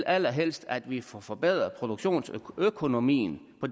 allerhelst at vi får forbedret produktionsøkonomien på